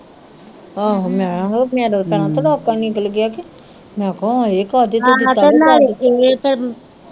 ਆਹੋ ਮੈ ਕਿਹਾ ਮੇਰਾ ਤਾ ਭੈਣਾਂ ਤਰਾਂਕਾ ਈ ਨਿਕਲ ਗਿਆ ਕੇ ਮੈ ਕਿਹਾ ਹਾਏ ਕਾਹਦੇ ਤੋਂ ਦਿਤਾ